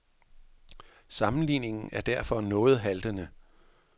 Sammenligningen er derfor noget haltende.